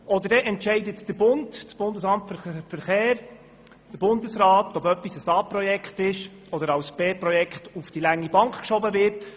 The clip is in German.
Oder es entscheidet der Bund, das Bundesamt für Verkehr beziehungsweise der Bundesrat, ob ein Vorhaben ein A-Projekt ist oder als B-Projekt auf die lange Bank geschoben wird.